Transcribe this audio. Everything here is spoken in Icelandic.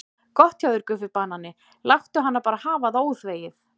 Gott hjá þér Guffi banani, láttu hana bara hafa það óþvegið.